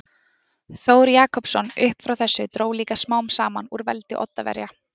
Þór Jakobsson Upp frá þessu dró líka smám saman úr veldi Oddaverja.